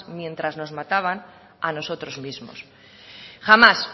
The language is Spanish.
mientras nos mataban a nosotros mismos jamás